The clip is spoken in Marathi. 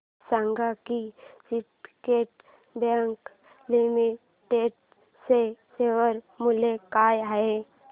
हे सांगा की सिंडीकेट बँक लिमिटेड चे शेअर मूल्य काय आहे